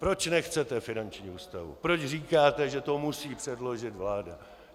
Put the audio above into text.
Proč nechcete finanční ústavu, proč říkáte, že to musí předložit vláda.